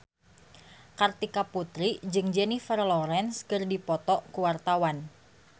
Kartika Putri jeung Jennifer Lawrence keur dipoto ku wartawan